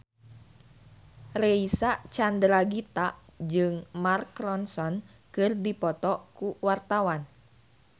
Reysa Chandragitta jeung Mark Ronson keur dipoto ku wartawan